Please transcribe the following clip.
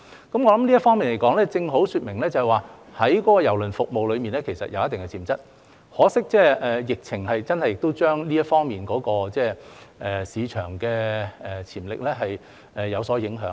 我想這正好說明郵輪服務其實有一定的潛質，可惜的是，疫情真的令這方面的市場潛力有所影響。